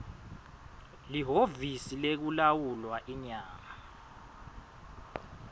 lihhovisi lekulawulwa inyama